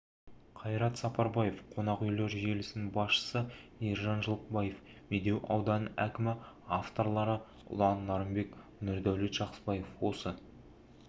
қайрат сапарбаев қонақүйлер желісінің басшысы ержан жылқыбаев медеу ауданының әкімі авторлары ұлан нарынбек нұрдәулет жақсыбаев осы